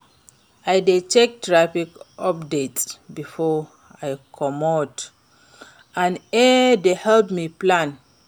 I dey check traffic updates before I comot and e dey help me plan.